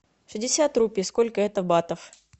пятьдесят рупий сколько это батов